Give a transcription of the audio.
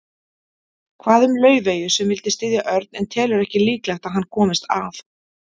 Hvað um Laufeyju sem vildi styðja Örn en telur ekki líklegt að hann komist að.